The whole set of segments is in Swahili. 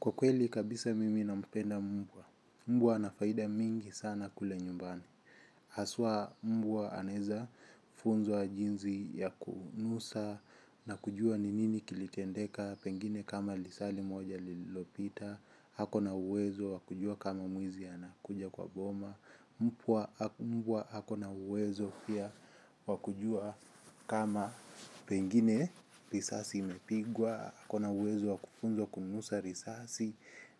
Kwa kweli kabisa mimi nampenda mbwa. Mbwa ana faida mingi sana kule nyumbani. Haswa mbwa anaeza funzwa jinsi ya kunusa na kujua ni nini kilitendeka pengine kama lisaa limoja lililopita. Ako na uwezo wa kujua kama mwizi anakuja kwa boma. Mbwa ako na uwezo pia wa kujua kama pengine risasi imepigwa. Ako na uwezo wa kufunzwa kunusa risasi.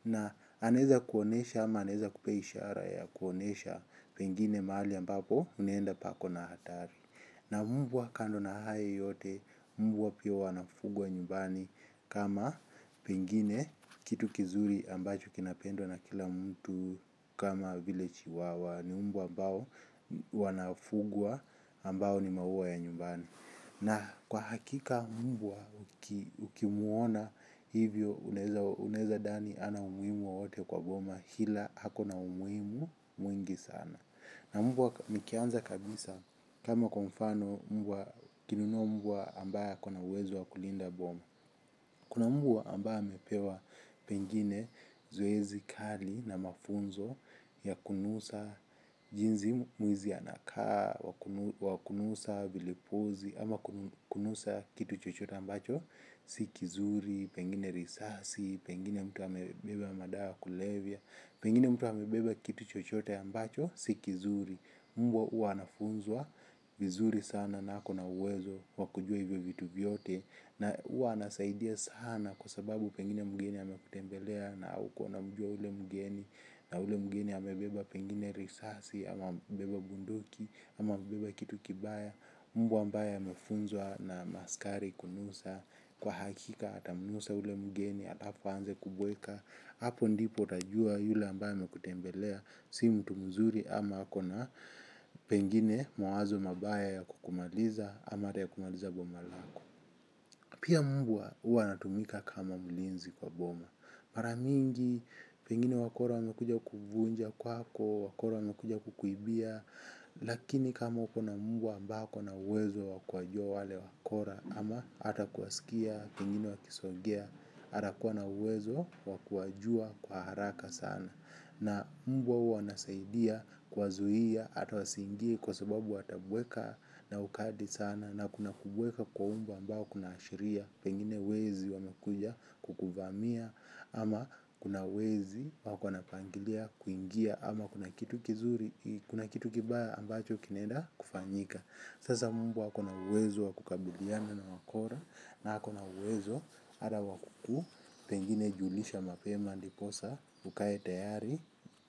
Na anaeza kuonyesha ama anaeza kupea ishara ya kuonyesha pengine mahali ambapo unaenda pako na hatari. Na mbwa kando na hayo yote, mbwa pia wanafugwa nyumbani kama pengine kitu kizuri ambacho kinapendwa na kila mtu. Kama vile chihuahua ni mbwa ambao wanaofugwa ambao ni maua ya nyumbani. Na kwa hakika mbwa ukimuona hivyo unaeza dhani hana umuhimu wowote kwa boma ila ako na umuimu mwingi sana. Na mbwa nikianza kabisa kama kwa mfano mbwa ukinunua mbwa ambaye ako na uwezo wa kulinda boma. Kuna mbwa ambaye amepewa pengine zoezi kali na mafunzo ya kunusa jinsi mwizi anakaa, wa kunusa vilipuzi, ama kunusa kitu chochote ambacho, si kizuri, pengine risasi, pengine mtu amebeba madawa ya kulevya, pengine mtu amebeba kitu chochote ambacho, si kizuri. Mbwa huwa anafunzwa vizuri sana na ako na uwezo wa kujua hivyo vitu vyote na huwa anasaidia sana kwa sababu pengine mgeni amekutembelea na haukuwa unamjua ule mgeni. Na ule mgeni amebeba pengine risasi ama amebeba bunduki ama amebeba kitu kibaya, mbwa ambaye amefunzwa na maaskari kunusa kwa hakika atamnusa ule mgeni ata hapo aanze kubweka hapo ndipo utajua yule ambaye amekutembelea si mtu mzuri ama ako na pengine mawazo mabaya ya kukumaliza ama hata kumaliza boma lako. Pia mbwa huwa anatumika kama mlinzi kwa boma. Mara mingi pengine wakora wamekuja kuvunja kwako wakora wamekuja kukuibia, lakini kama uko na mbwa ambaye ako na uwezo wa kuwajua wale wakora ama ata kuwasikia, pengine wakisogea atakuwa ana uwezo wa kuwajua kwa haraka sana. Na mbwa huwa anasaidia kuwazuia hata wasiingie kwa sababu watabweka na ukali sana. Na kuna kubweka kwa mbwa ambao kunaashiria pengine wezi wamekuja kukuvamia. Ama kuna wezi wako wanapangilia kuingia. Ama kuna kitu kibaya ambacho kinaenda kufanyika. Sasa mbwa ako na uwezo wa kukabiliana na wakora, na ako na uwezo, hata wa kuku, pengine julisha mapema, ndiposa ukae tayari,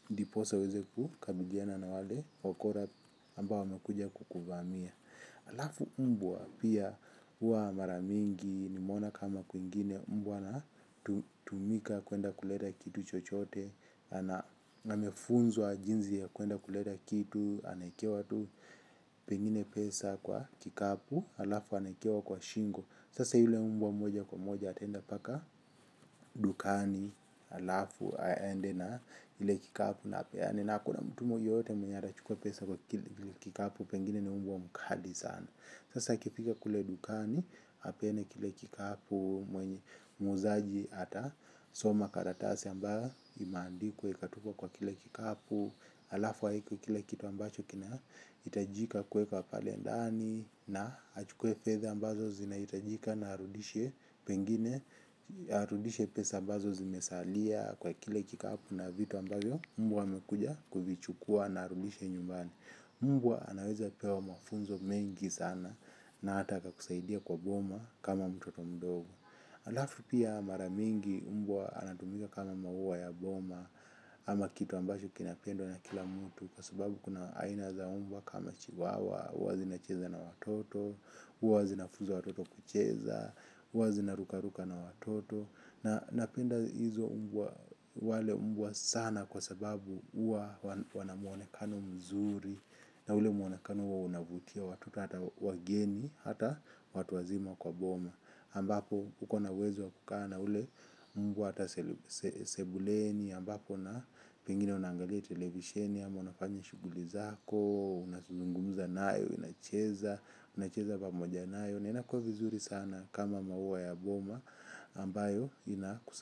ndiposa uweze kukabiliana na wale, wakora ambao wamekuja kukuvamia. Alafu mbwa pia, huwa mara mingi, nimeona kama kwingine, mbwa ana tumika kuenda kuleta kitu chochote, amefunzwa jinsi ya kuenda kuleta kitu, anaekewa tu pengine pesa kwa kikapu, alafu anaekewa kwa shingo, sasa yule mbwa moja kwa moja ataenda mpaka dukani alafu aende na ile kikapu na apeane na hakuna mtu yeyote mwenye atachukua pesa kwa kile kikapu pengine na mbwa mkali sana. Sasa akifika kule dukani apeane kile kikapu mwenye muuzaji atasoma karatasi ambayo imeandikwa ikatupwa kwa kile kikapu. Alafu aweke kila kitu ambacho kinahitajika kuweka pale ndani na achukue fedha ambazo zinahitajika na arudishe pengine. Arudishe pesa ambazo zimesalia kwa kile kikapu na vitu ambavyo mbwa amekuja kuvichukua na arudishe nyumbani. Mbwa anaweza pewa mafunzo mengi sana na hata akakusaidia kwa boma kama mtoto mdogo. Alafu pia mara mingi mbwa anatumika kama maua ya boma. Ama kitu ambacho kinapendwa na kila mtu kwa sababu kuna aina za mbwa kama Chihuahua, huwa zinacheza na watoto, huwa zinafunza watoto kucheza, huwa zinarukaruka na watoto. Napenda hizo mbwa, wale mbwa sana kwa sababu huwa wana mwonekano mzuri. Na ule mwonekano huwa unavutia watoto hata wageni, hata watu wazima kwa boma. Ambapo, uko na uwezo wa kukaa na ule mbwa hata sebuleni. Ambapo na pengine unaangalia televisheni ama unafanya shughuli zako, unazungumza naye, unacheza unacheza pamoja naye na inakuwa vizuri sana kama maua ya boma ambayo inakusa.